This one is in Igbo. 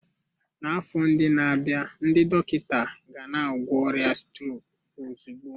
N'afọ ndị na-abịa, ndị dọkịta gana-agwọ ọrịa strok ozugbo.